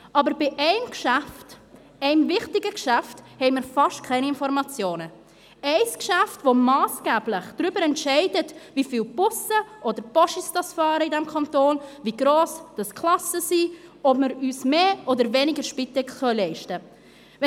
Aber bei einem Geschäft, einem wichtigen Geschäft, haben wir fast keine Informationen – ein Geschäft, das massgeblich darüber entscheidet, wie viel Busse oder Postautos in diesem Kanton fahren, wie gross die Klassen sind, ob wir uns mehr oder weniger Spitex leisten können.